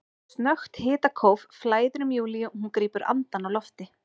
Snöggt hitakóf flæðir um Júlíu og hún grípur andann á lofti.